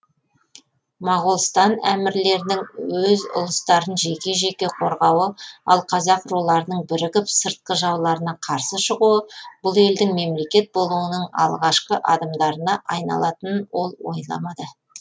моғолстан әмірлерінің өз ұлыстарын жеке жеке қорғауы ал қазақ руларының бірігіп сыртқы жауларына қарсы шығуы бұл елдің мемлекет болуының алғашқы адымдарына айналатынын ол ойламады